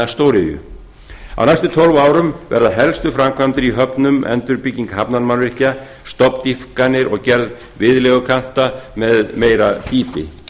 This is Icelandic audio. stóriðju á næstu tólf árum verða helstu framkvæmdir í höfnum endurbygging hafnarmannvirkja stofndýpkanir og gerð viðlegukanta með meira dýpi